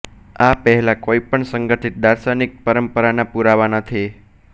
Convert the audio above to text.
આ પહેલાં કોઈપણ સંગઠિત દાર્શનિક પરંપરાના પુરાવા નથી